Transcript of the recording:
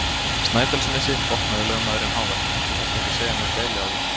Snæfellsnesi, botnaði lögmaðurinn hávær,-þú þarft ekki að segja mér deili á þér!